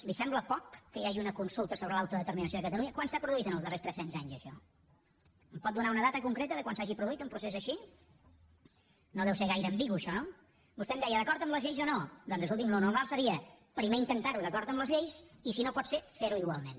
li sembla poc que hi hagi una consulta sobre l’autodeterminació de catalunya quan s’ha produït en els darrers tres cents anys això em pot donar una data concreta de quan s’ha pro duït un procés així no deu ser gaire ambigu això no vostè em deia d’acord amb les lleis o no doncs escolti’m el normal seria primer intentar ho d’acord amb les lleis i si no pot ser fer ho igualment